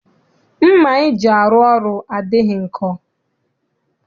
Mma anyị ji arụ ọrụ adịghị nkọ.